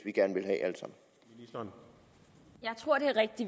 som